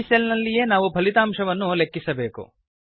ಈ ಸೆಲ್ ನಲ್ಲಿಯೇ ನಾವು ಫಲಿತಾಂಶವನ್ನು ಲೆಕ್ಕಿಸಬೇಕು